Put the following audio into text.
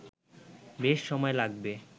বেশ সময় লাগবে